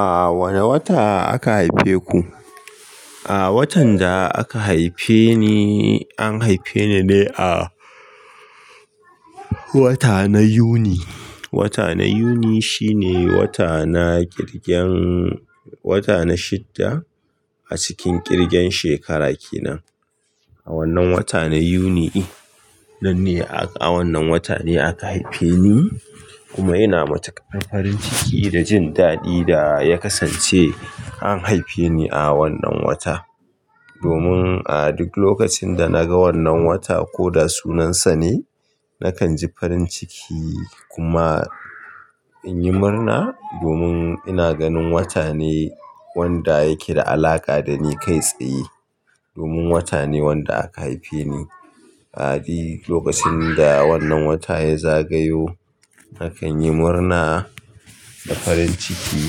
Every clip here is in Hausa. A wane wata aka haife ku? A watan da aka haife ni, an haife ni ne a wata na Yuni. Wata na Yuni shine wata na ƙirgen, wata na shidda a cikin ƙirgen shekara kenan. A wannan wata na Yuni din ne, a wannan wata ne aka haife ni kuma ina mata farin ciki da jin daɗi da ya kasance an haife ni a wannan wata. Domin a duk lokacin da naga wannan wata ko da sunan sa ne, nakan ji farin ciki kuma in yi murna domin ina ganin wata ne wanda yake da alaƙa da ni kai tsaye. Domin wata ne wanda aka haife ni. A duk lokacin da wannan wata ya zagayo, nakan yi murna da farin ciki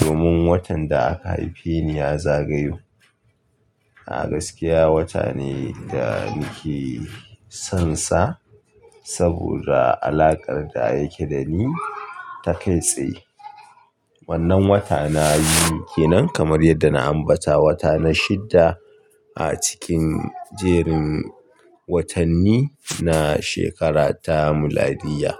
domin watan da aka haife ni ya zagayo. A gaskiya wata ne da nake son sa saboda alakar da yake da ni ta kai tsaye. Wannan wata na Yuni kenan kamar yadda na ambata wata na shidda a cikin jerin watanni na shekarar ta miladiyya.